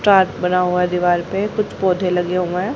बना हुआ है दीवार पे कुछ पौधे लगे हुए हैं।